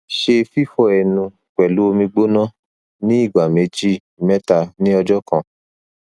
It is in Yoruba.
ṣe fifọ ẹnu pẹlu omi gbona ni igba meji mẹta ni ọjọ kan